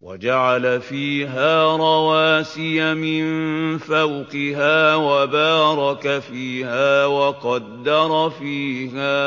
وَجَعَلَ فِيهَا رَوَاسِيَ مِن فَوْقِهَا وَبَارَكَ فِيهَا وَقَدَّرَ فِيهَا